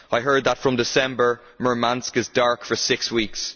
I heard that from December, Murmansk is dark for six weeks.